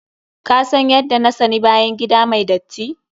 Ka san yadda na sani bayan gida mai datti.